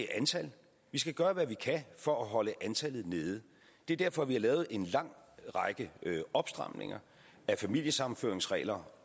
er antal vi skal gøre hvad vi kan for at holde antallet nede det er derfor vi har lavet en lang række opstramninger af familiesammenføringsregler